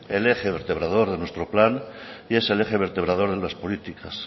el eje vertebrador de nuestro plan y es el eje vertebrador de las políticas